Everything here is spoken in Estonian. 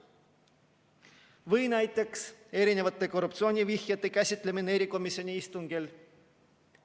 Või näiteks korruptsioonivihjete käsitlemine erikomisjoni istungil.